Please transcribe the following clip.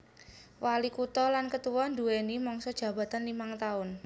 Walikutha lan ketua nduwèni mangsa jabatan limang taun